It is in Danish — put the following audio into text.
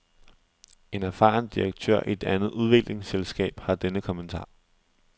En erfaren direktør i et andet udviklingsselskab har denne kommentar.